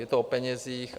Je to o penězích.